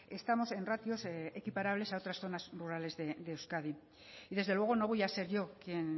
estamos en ratios equiparables a otras zonas rurales de euskadi y desde luego no voy a ser yo quien